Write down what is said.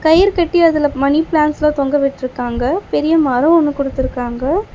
கயிறு கட்டி அதுல மணி பிளான்ட்ஸ்லா தொங்கவிட்ருக்காங்க பெரிய மரோ ஒன்னு குடுத்துருக்காங்க.